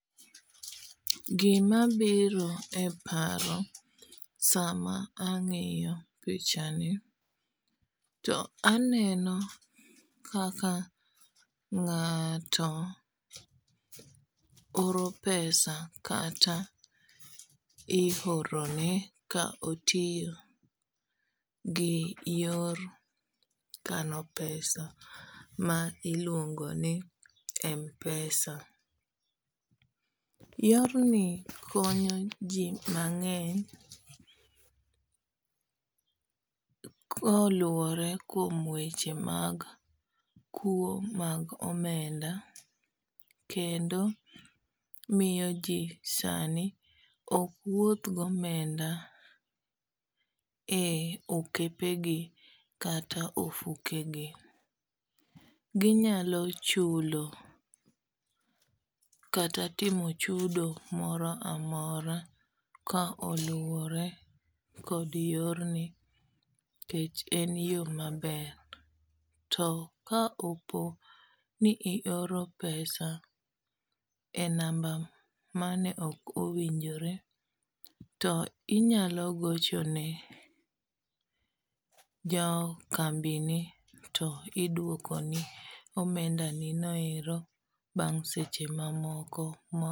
Gima biro e paro sama angiyo pichani to aneno kaka ng'ato oro pesa kata iorone, ka otiyo gi yor kano pesa ma iluongo ni mpesa. Yorni konyo ji mang'eny koluwore kuom weche mag kuo mag omenda. Kendo miyo ji sani ok wuoth gi omenda e okepe gi, kata e ofuke gi. Ginyalo chulo kata timo chudo moro amora ka oluwore kod yorni, nikech en yo maber. To ka opo ni ioro pesa e namba mane ok owinjore to inyalo goche ne jo kambi ni to idwoko ni omenda ni no bang' seche mamoko.